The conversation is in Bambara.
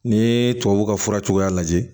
N'i ye tubabuw ka fura cogoya lajɛ